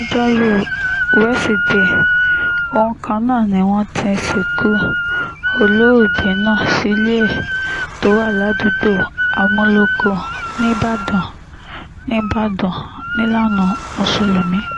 lọ́jọ́rùú weṣídẹ̀ẹ́ ohun kan náà ni wọ́n ti sìnkú olóògbé náà sílé ẹ̀ tó wà ládùúgbò àmúlòkó nìbàdàn nìbàdàn nílànà mùsùlùmí